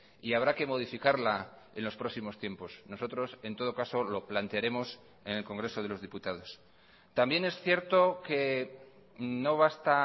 y habrá que modificarla en los próximos tiempos nosotros en todo caso lo plantearemos en el congreso de los diputados también es cierto que no basta